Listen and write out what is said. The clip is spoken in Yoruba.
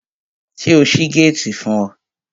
Ṣé o ṣí géètì fún ọ?